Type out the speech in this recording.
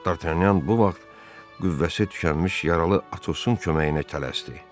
Dartanyan bu vaxt qüvvəsi tükənmiş yaralı Atosun köməyinə tələsdi.